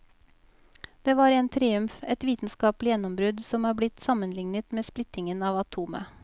Det var en triumf, et vitenskapelig gjennombrudd som er blitt sammenlignet med splittingen av atomet.